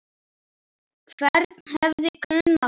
Hvern hefði grunað þetta?